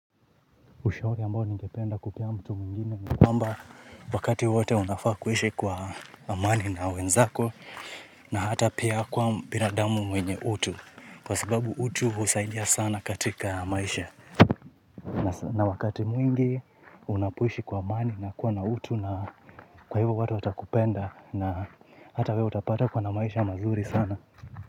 Ushauri ambao ningependa kupea mtu mwingine ni kwamba wakati wote unafaa kuishi kwa amani na wenzako. Na hata pia kuwa binadamu mwenye utu. Kwa sababu utu usaidia sana katika maisha. Na wakati mwingi unapo ishi kwa amani na kuwa na utu. Na kwa hivyo watu watakupenda. Na hata wewe utapata uko na maisha mazuri sana.